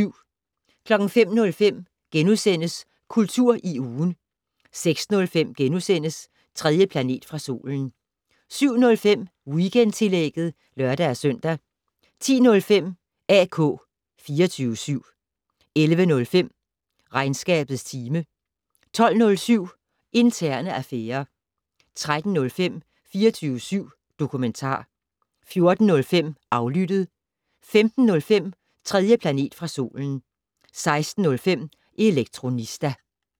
05:05: Kultur i ugen * 06:05: 3. planet fra solen * 07:05: Weekendtillægget (lør-søn) 10:05: AK 24syv 11:05: Regnskabets time 12:07: Interne affærer 13:05: 24syv dokumentar 14:05: Aflyttet 15:05: 3. planet fra solen 16:05: Elektronista